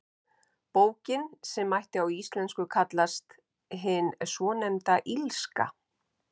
Bókin, sem mætti á íslensku kallast Hin svonefnda illska.